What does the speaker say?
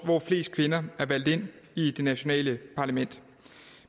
hvor flest kvinder er valgt ind i det nationale parlament